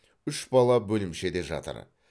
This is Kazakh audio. үш бала бөлімшеде жатыр